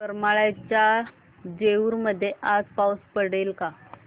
करमाळ्याच्या जेऊर मध्ये आज पाऊस पडेल का